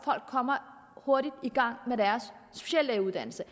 folk kommer hurtigt i gang med deres speciallægeuddannelse